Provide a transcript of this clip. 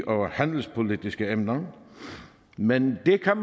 og handelspolitiske emner men det kan